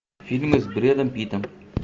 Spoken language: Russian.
фильмы с брэдом питтом